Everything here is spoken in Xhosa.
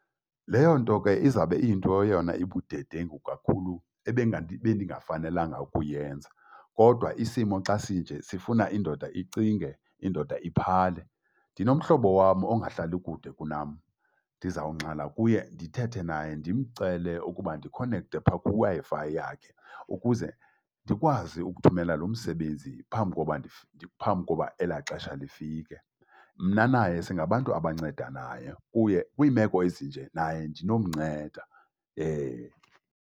Leyo nto ke izawube iyinto eyona ibudedengu kakhulu ebendingafanelanga ukuyenza. Kodwa isimo xa sinje, sifuna indoda icinge, indoda iphanle. Ndinomhlobo wam ongahlalli kude kunam, ndizawungxala kuye ndithethe naye ndimcele ukuba ndikhonekthe phaa kwiWi-Fi yakhe ukuze ndikwazi ukuthumela lo msebenzi phambi koba phambi koba elaa xesha lifike. Mna naye singabantu abancedanaya kuye, kwiimeko ezinje naye ndinomnceda. .